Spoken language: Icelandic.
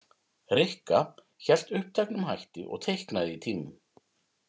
Rikka hélt uppteknum hætti og teiknaði í tímum.